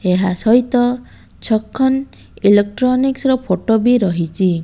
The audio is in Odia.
ଏହା ସହିତ ଛକନ ଇଲେକ୍ଟ୍ରୋନିକ୍ସ ର ଫଟୋ ବି ରହିଚି।